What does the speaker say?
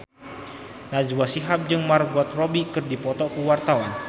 Najwa Shihab jeung Margot Robbie keur dipoto ku wartawan